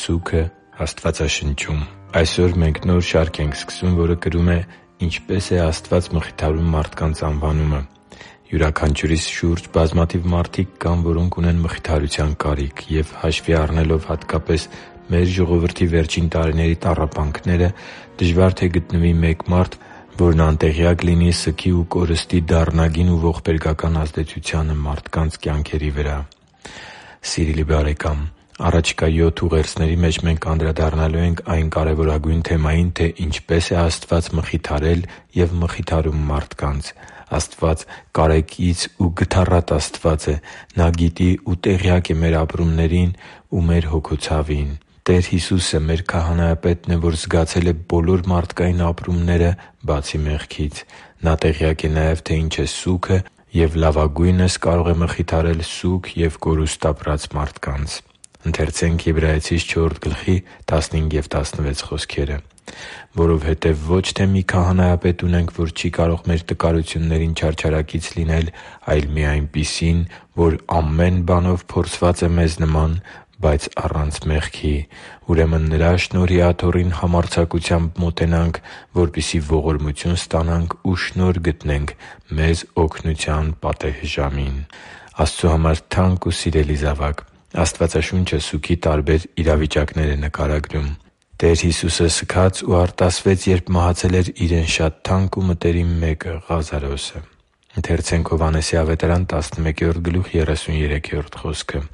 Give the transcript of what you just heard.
Սուգը Աստվածաշնչում Այսօր մենք նոր շարք ենք սկսում, որը կրում է «Ինչպե՞ս է Աստված մխիթարում մարդկանց» անվանումը: Յուրաքանչյուրիս շուրջ բազմաթիվ մարդիկ կան, որոնք ունեն մխիթարության կարիք և, հաշվի առնելով հատկապես մեր ժողովրդի վերջին տարիների տառապանքները, դժվար թե գտնվի մեկ մարդ, որն անտեղյակ լինի սգի ու կորստի դառնագին ու ողբերգական ազդեցությանը մարդկանց կյանքերի վրա։ առաջիկա յոթ ուղերձների մեջ մենք անդրադառնալու ենք այն կարևորագույն թեմային, թե ինչպե՞ս է Աստված մխիթարել և մխիթարում մարդկանց։ Աստված կարեկից ու գթառատ Աստված է։ Նա գիտի ու տեղյակ է մեր ապրումներին ու մեր հոգու ցավին։ Տեր Հիսուսը մեր քահանայապետն է, որ զգացել է բոլոր մարդկային ապրումները, բացի մեղքից։ Նա տեղյակ է նաև, թե ինչ է սուգը, և լավագույնս կարող է մխիթարել սուգ և կորուստ ապրած մարդկանց։ «Որովհետև ոչ թե մի քահանայապետ ունենք, որ չի կարող մեր տկարություններին չարչարակից լինել, այլ մի այնպիսին, որ ամեն բանով փորձված է մեզ նման, բայց առանց մեղքի է։ Ուրեմն Նրա շնորհի աթոռին համարձակությամբ մոտենանք, որպեսզի ողորմություն ստանանք ու շնորհ գտնենք մեզ օգնության պատեհ ժամին» (Եբրայեցիս 4․15-16): Աստծու համար թանկ ու սիրելի՛ *|FNAME|*, Աստվածաշունչը սուգի տարբեր իրավիճակներ է նկարագրում։ Տեր Հիսուսը սգաց ու արտասվեց, երբ մահացել էր Իրեն շատ թանկ ու մտերիմ մեկը՝ Ղազարոսը․